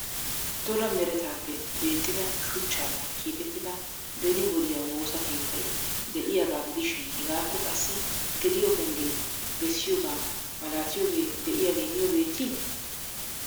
Dolla meretappe beettida shuchchappe keexxetida beni wodiyaa woosa keettay de'iyaaga gidishin hegaappe qassi geliyo pengge beessiyooga malatiyooge de'iyaage niyo beetti?